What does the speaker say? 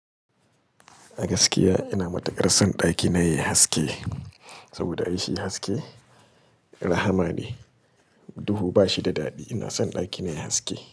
A gaskiya ina matukar son ɗakina yayi haske, saboda ai shi haske rahama ne. Duhu ba shi da daɗi. Ina son ɗakina yayi haske.